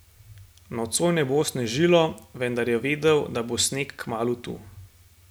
Nocoj ne bo snežilo, vendar je vedel, da bo sneg kmalu tu.